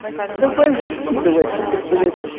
давай уже скидывай что ты блять